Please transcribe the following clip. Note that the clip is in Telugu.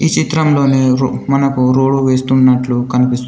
ఈ చిత్రంలోనే రు మనకు రోడ్డు వేస్తున్నట్లు కనిపిస్తుంది.